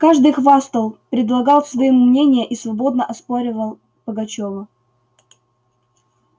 каждый хвастал предлагал свои мнения и свободно оспаривал пагачёва